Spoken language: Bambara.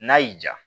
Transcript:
N'a y'i ja